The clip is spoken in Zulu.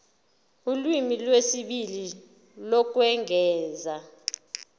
ulimi lwesibili lokwengeza